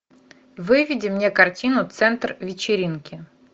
выведи мне картину центр вечеринки